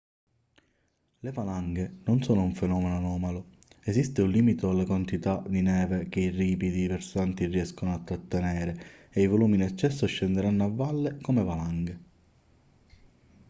le valanghe non sono un fenomeno anomalo esiste un limite alla quantità di neve che i ripidi versanti riescono a trattenere e i volumi in eccesso scenderanno a valle come valanghe